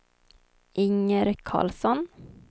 Inger Karlsson